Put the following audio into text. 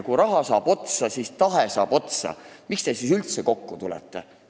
Kui raha saab otsa, siis saab tahe otsa – miks te siis üldse kokku tulete?